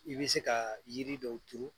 I bɛ se ka yiri dɔw turu